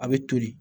A bɛ toli